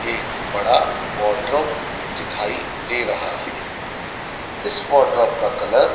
एक बड़ा वार्डरोब दिखाई दे रहा है इस वॉर्डरोब का कलर --